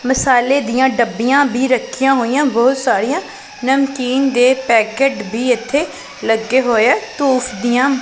ਮਸਾਲੇ ਦੀਆਂ ਡੱਬੀਆਂ ਰੱਖੀਆਂ ਹੋਈਆਂ ਬਹੁਤ ਸਾਰੀਆਂ ਨਮਕੀਨ ਦੇ ਪੈਕਟ ਵੀ ਇੱਥੇ ਲੱਗੇ ਹੋਏ ਆ ਧੂਫ ਦੀਆਂ --